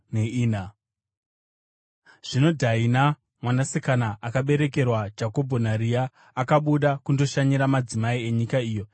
Zvino Dhaina, mwanasikana akaberekerwa Jakobho naRea, akabuda kundoshanyira madzimai enyika iyo.